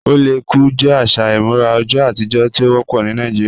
Oléku jẹ aṣa imurà ọjọ̀ atijọ̀ tí o wọpọ ni Nàìjíríà